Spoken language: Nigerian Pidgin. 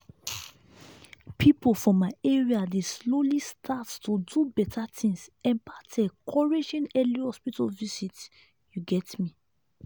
people for my area dey slowly start to do better things about encouraging early hospital visit you get me